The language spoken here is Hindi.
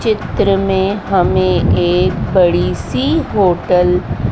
चित्र में हमें एक बड़ीसी होटल --